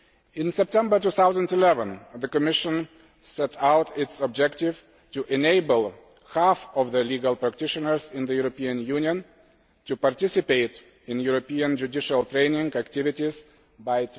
In September 2011, the Commission set out its objective to enable half of the legal practitioners in the European Union to participate in European judicial training activities by